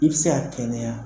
I be se ka kɛnɛya